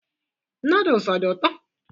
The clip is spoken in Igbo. Nodles ọ dị ụtọ?